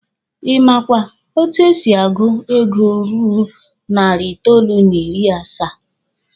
Ị makwa etu e si agụ ego ruru narị itoolu n'ịrị asaa?